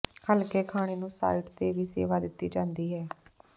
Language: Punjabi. ਹਲਕੇ ਖਾਣੇ ਨੂੰ ਸਾਈਟ ਤੇ ਵੀ ਸੇਵਾ ਦਿੱਤੀ ਜਾਂਦੀ ਹੈ